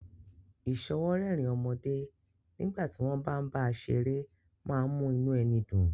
Ìsọwọ́rẹ́rìn ọmọdé nígbà tí wọ́n bá ń bá a ṣeré má ń mú inú ẹni dùn